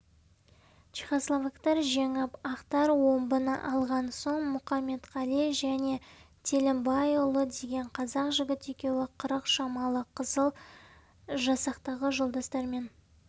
чехословактар жеңіп ақтар омбыны алған соң мұқаметқали және телімбайұлы деген қазақ жігіт екеуі қырық шамалы қызыл жасақтағы жолдастармен